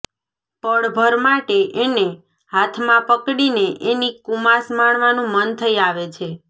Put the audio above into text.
પળભર માટે એને હાથમાં પકડીને એની કુમાશ માણવાનું મન થઇ આવે છે